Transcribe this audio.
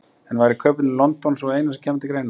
En væri kauphöllin í London sú eina sem kæmi til greina?